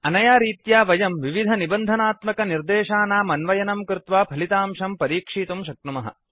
अनया रीत्या वयम् विविधनिबन्धनात्मकनिर्देशानाम् अन्वयनं कृत्वा फलितांशं परीक्षितुं शक्नुमः